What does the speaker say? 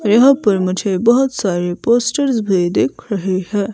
यहाँ पर मुझे बहोत सारे पोस्टर्स भी दिख रहे है।